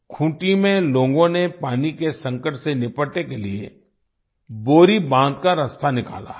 खूंटी में लोगों ने पानी के संकट से निपटने के लिए बोरी बाँध का रास्ता निकाला है